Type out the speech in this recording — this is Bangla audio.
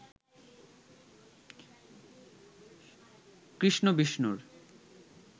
কৃষ্ণ বিষ্ণুর